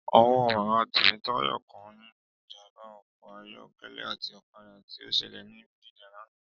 Ọwọ́ bàbá Temitayo kan nínú ìjàmbá ọkọ̀ ayọ̀kẹ́lẹ́ àti ọ̀kadà tí ó ṣẹlẹ̀ ní Bodija lánàá